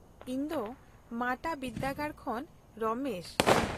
-ᱤᱧ ᱫᱚ ᱢᱟᱴᱟ ᱵᱤᱨᱫᱟᱹᱜᱟᱲ ᱠᱷᱚᱱ ᱨᱚᱢᱮᱥ ᱾